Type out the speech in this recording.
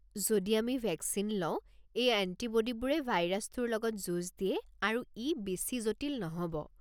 যদি আমি ভেকচিন লওঁ, এই এণ্টিব'ডিবোৰে ভাইৰাছটোৰ লগত যুঁজ দিয়ে আৰু ই বেছি জটিল নহ'ব।